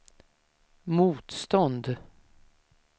motstånd